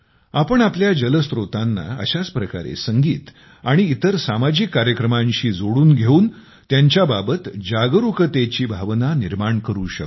आपण आपल्या जलस्त्रोतांना अशाच प्रकारे संगीत आणि इतर सामाजिक कार्यक्रमांशी जोडून घेऊन त्यांच्या बाबत जागरूकतेची भावना निर्माण करू शकतो